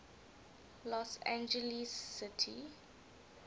los angeles city